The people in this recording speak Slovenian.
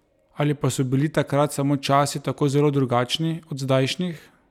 Ali pa so bili takrat samo časi tako zelo drugačni od zdajšnjih?